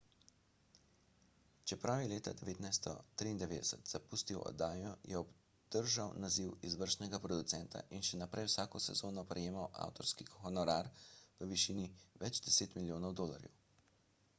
čeprav je leta 1993 zapustil oddajo je obdržal naziv izvršnega producenta in še naprej vsako sezono prejemal avtorski honorar v višini več deset milijonov dolarjev